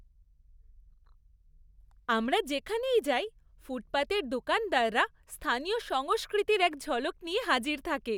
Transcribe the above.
আমরা যেখানেই যাই, ফুটপাতের দোকানদাররা স্থানীয় সংস্কৃতির এক ঝলক নিয়ে হাজির থাকে।